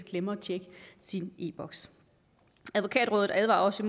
glemmer at tjekke sin e boks advokatrådet advarer også